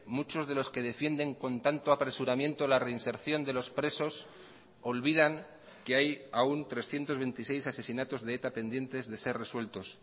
muchos de los que defienden con tanto apresuramiento la reinserción de los presos olvidan que hay aún trescientos veintiséis asesinatos de eta pendientes de ser resueltos